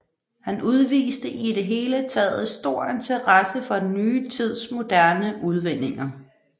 Han udviste i det hele taget stor interesse for den nye tids moderne udvinninger